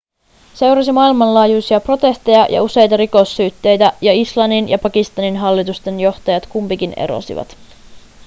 seurasi maailmanlaajuisia protesteja ja useita rikossyytteitä ja islannin ja pakistanin hallitusten johtajat kumpikin erosivat